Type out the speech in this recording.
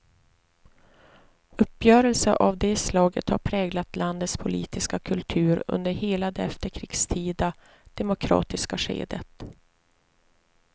Uppgörelser av det slaget har präglat landets politiska kultur under hela det efterkrigstida, demokratiska skedet.